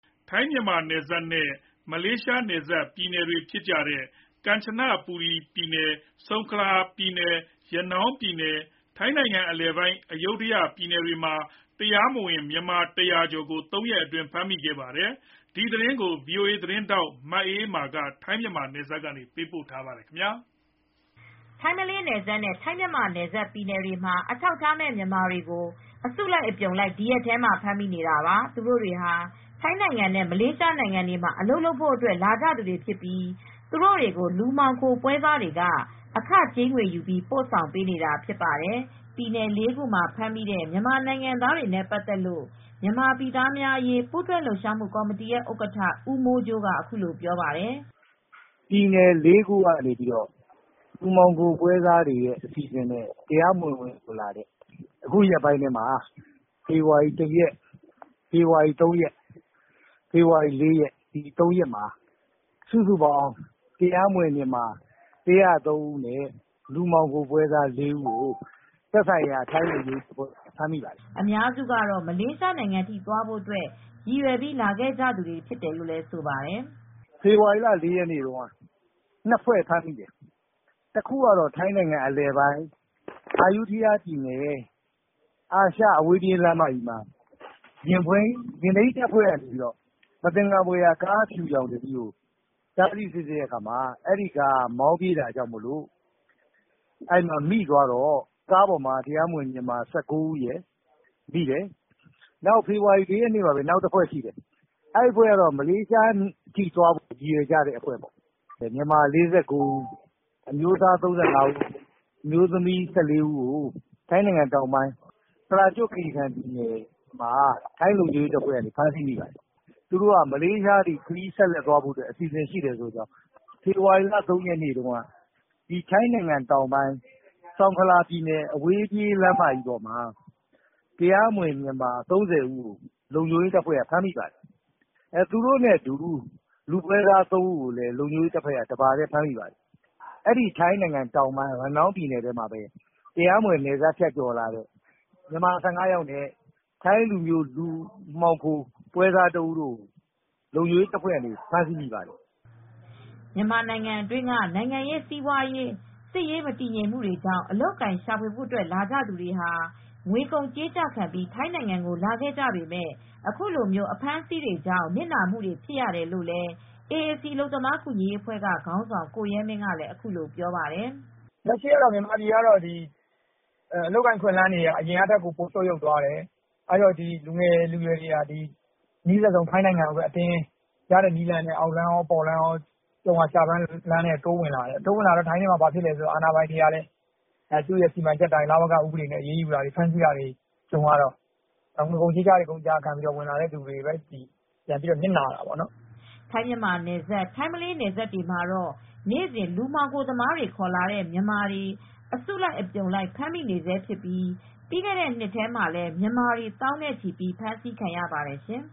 ထိုင်းမြန်မာနယ်စပ်နဲ့မလေးရှားနယ်စပ်ပြည်နယ်တွေဖြစ်တဲ့ ကမ်ချဘူရီပြည်နယ်၊ ဆုံခလာပြည်နယ်၊ ရနောင်းပြည်နယ်နဲ့ ထိုင်းနိုင်ငံအလယ်ပိုင်း အယုဒ္ဓယပြည်နယ်တွေမှာ တရားမဝင် မြန်မာ ၁၀၀ ကျော်ကို ၃ ရက်အတွင်းဖမ်းမိခဲ့ပါတယ်။ ဒီသတင်းကို ဗွီအိုအေသတင်းထောက် မအေးအေးမာကသတင်းပေးပို့ထားပါတယ်။ ထိုင်း-မလေးနယ်စပ်နဲ့ ထိုင်း-မြန်မာနယ်စပ်ပြည်နယ်တွေမှာ အထောက်အထားမဲ့မြန်မာတွေကို အစုလိုက်အပြုံလိုက် ဒီရက်ထဲမှာ ဖမ်းမိနေတာပါ။ သူတို့တွေဟာ ထိုင်းနိုင်ငံနဲ့ မလေးရှားနိုင်ငံတွေမှာအလုပ်လုပ်ဖို့ လာကြသူတွေဖြစ်ပြီး သူတို့တွေကို လူမှောင်ခိုပွဲစားတွေက အခကြေးငွေယူပြီး ပို့ဆောင်ပေးနေတာဖြစ်ပါတယ်။ ပြည်နယ် ၄ ခုမှာဖမ်းမိတဲ့ မြန်မာနိုင်ငံသားတွေနဲ့ပတ်သက်လို့မြန်မာပြည်သားများအရေးပူးတွဲလှုပ်ရှားမှုကာ်မတီဥက္ကဋ္ဌ ဦးမိုးကြိုးက အခုလိုပြောပါတယ်။ “ပြည်နယ်လေးခုကနေပြီးတော့ လူကုန်ကူးတဲ့ပွဲစားတွေနဲ့ တရားမဝင် ဝင်ရောက်လာသူတွေ အခုရက်ပိုင်း ဖေဖေါ်ဝါရီလ ၁ ရက်၊ ၃ ရက်၊ ၄ ရက်- ၃ ရက်အတွင်းမှာ စုစုပေါင်း တရားမဝင်မြန်မာ ၁၀၃ ဦးနဲ့ လူမှောင်ခိုပွဲစား ၄ ဦးကို သက်ဆိုင်ရာကဖမ်းမိတယ်။” အများစုကတော့ မလေးရှားထိသွားဖို့ရည်ရွယ်ကြသူတွေလည်းပါတယ်လို့ ဆိုပါတယ်။ “ဖေဖေါ်ဝါရီလ ၄ ရက်မှာ ၂ ဖွဲ့ဖမ်းမိတယ်။ တခုကတော့ အယုဒ္ဓယပြည်နယ် အာရှအဝေးပြေးလမ်းမကြီးမှာ ယာဉ်ထိမ်းတပ်ဖွဲ့က မသင်္ကာဖွယ်ရာကားအဖြူတစီးကို တားဆီးစစ်ဆေးရာမှာ အဲဒီကားကမောင်းပြေးတော့ တရားမဝင် မြန်မာ ၁၉ ဦးမိတယ်။ နောက်တဖွဲ့က မြန်မာ ၄၉ ဦးကတော့ မလေးရှားကိုသွားဖို့ ရည်ရွယ်တယ်၊ မိတယ်။ အမျိုးသား ၃၅ ဦး၊ အမျိုးသမီး ၁၄ ဦးကို ပရာကျွတ် ခီရီကန်ပြည်နယ်မှာ မိတယ်။ သူတို့ကတောာ့ မလေးရှားထိသွားဖို့ အစီစဉ်ရှိတယ်။ ဖေဖေါ်ဝါရီလ ၃ ရက်ကတော့ ထိုင်းတောင်ပိုင်း ဆုန်ခလာပြည်နယ် အဝေးပြေးလမ်းမမှာ မြန်မာ ၃၀ နဲ့လူပွဲစား ၃ ဦးမိတယ်။ ထိုင်းတောင်ပိုင်း ရနောင်းပြည်နယ်ထဲမှာ တရားမဝင် မြန်မာ ၁၅ ယောက်နဲ့ လူပွဲစား ၁ ဦးကိုထိုင်းလုံခြုံရေးတပ်ဖွဲ့တွေက ဖမ်းမိပါတယ်။” မြန်မာပြည်က နိုင်ငံရေး၊ စစ်ရေး၊ စီးပွားရေးမတည်ငြိမ်မှုတွေကြောင့် အလုပ်အကိုင်ရှာဖွေဖို့လာကြသူတွေဟာ ငွေကုန်ကြေးကျခံပြီး ထိုင်းနိုင်ငံကိုလာကြပေမဲ့ ခုလိုအဖမ်းဆီးတွေကြောင့် နစ်နာကြရတယ်လို့လည်း အေအေစီအလုပ်သမားကူညီရေးအဖွဲ့ခေါင်းဆောင် ကိုရဲမင်းကလည်း ပြောပါတယ်။ “လက်ရှိမြန်မာပြည်က အလုပ်အကိုင်အခွင့်အလမ်းတွေ ပိုပြီးဆုတ်ယုတ်လာတယ်။ လူငယ်လူရွယ်တွေက အနီးစပ်ဆုံး ထိုင်းနိုင်ငံကို ကြုံရာကျဘမ်းလုပ်ဖို့ အပေါ်လမ်းကော အောက်လမ်းကော နီးစပ်ရာလမ်းတွေက တိုးဝင်လာနေကြတယ်။ အဲဒီတော့ ထိုင်းနိုင်ငံကလည်း သူရဲ့လဝကဥပဒေအတိုင်း အရေးယူဆောင်ရွက်တဲ့အခါကျတော့ အလုပ်ရှာဖို့ ငွေကုန်ကြေးကျခံပြီးလာကြသူတွေပဲ နစ်နာကြတာပေါ့။” ထိုင်း-မြန်မာနယ်စပ်နဲ့ ထိုင်း-မလေးနယ်စပ်တွေမှာ နေ့စဉ် လူမှောင်ခိုသမားတွေခေါ်လာတဲ့မြန်မာတွေ အစုလိုက်အပြုံလိုက်ဖမ်းမိနေဆဲဖြစ်ပြီး ပြီးခဲ့တဲ့ နှစ်ထဲမှာလည်း မြန်မာတွေ သောင်းနဲ့ချီပြီး ဖမ်းဆီးခံခဲ့ရပါတယ်ရှင်